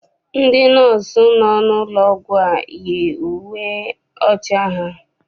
Ndị nọọsụ nọ n'ụlọ ọgwụ a yi uwe ọcha ha.